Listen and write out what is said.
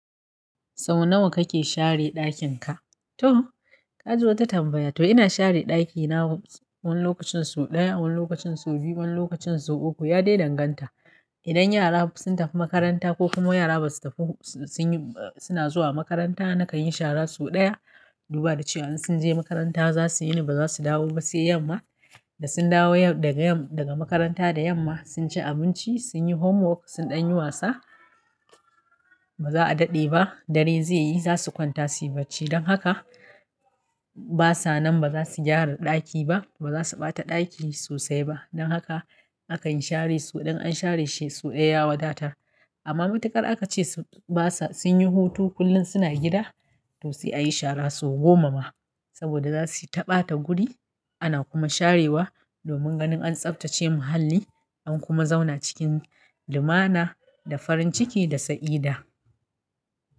Sau nawa kake share ɗakin ka? To, kaji wata tambaya, to ina share ɗakina wani lokacin sau ɗaya, wani lokacin sau biyu, wani lokacin sau uku. Ya dai danganta. Idan yara sun tafi makaranta ko kuma yara basu tafi suna zuwa makaranta, nakan yi shara sau ɗaya. Duba da cewa in sun je makaranta za su yini ba za su dawo ba sai yamma. Da sun dawo yau daga makaranta da yamma, sun ci abinci, sun yi homework, sun ɗan yi wasa, ba za a daɗe ba, dare zai yi za su kwanta, su yi bacci. Don haka basa nan ba za su gyara ɗaki ba, ba za su ɓata ɗaki sosai ba. Don haka a kan share sau ɗaya. In an share shi sau ɗaya ya wadata. Amma matukar aka ce basa sun yi hutu kullum suna gida, to sai a yi shara sau goma ma. Saboda za su ta ɓata guri. Ana kuma sharewa domin ganin an tsaftace muhalli, an kuma zauna cikin limana da farin ciki da sa'ida.